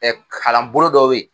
Ɛ kalanbolo dɔ be ye